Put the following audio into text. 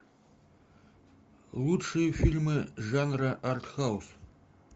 лучшие фильмы жанра артхаус